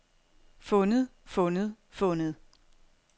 fundet fundet fundet